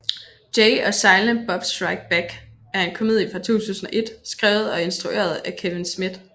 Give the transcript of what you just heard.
Jay and Silent Bob Strike Back er en komedie fra 2001 skrevet og instrueret af Kevin Smith